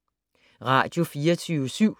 Radio24syv